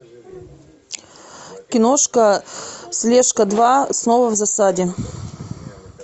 киношка слежка два снова в засаде